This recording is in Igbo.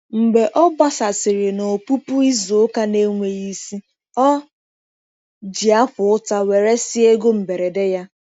Mgbe ọ gbasasịrị na ọpụpụ izu ụka na-enweghị isi, o ji akwa ụta weresịa ego mberede ya.